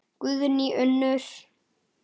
Guðný Unnur.